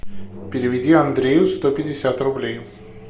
переведи андрею сто пятьдесят рублей